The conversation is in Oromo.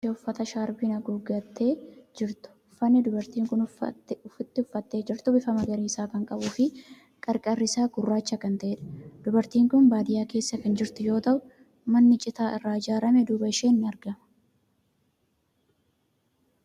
Dubartii rifeensa mataa ishee uffata shaarbiin haguuggattee jirtu. Uffanni dubartiin kun ofitti uffattee jirtu bifa magariisa kan qabuu fi qarqarri isaa gurraacha kan ta'edha. Dubartiin kun baadiyaa keessa kan jirtu yoo ta'u, manni citaa irraa ijaarame duuba isheen ni argama.